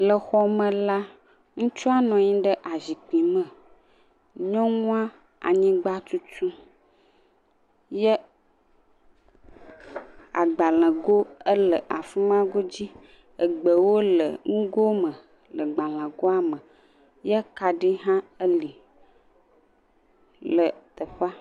Le xɔme la ŋutsua nɔ anyi ɖe asikpui. Nyɔnua anyigba tutum ye agbalẽ go le afima godzi. Egbewo le nugo me le gbalẽ goa me ye kaɖi hã le teƒea.